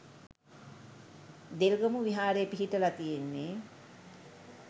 දෙල්ගමු විහාරේ පිහිටලා තියෙන්නේ